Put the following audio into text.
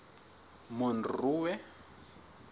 monroe